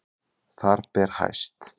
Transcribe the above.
Þar ber hæst